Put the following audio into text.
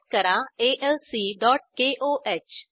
type करा alcकोह